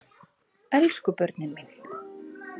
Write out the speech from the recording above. Elsku börnin mín!